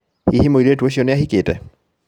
Hihi mũirĩtu ũcio nĩ ahikĩte?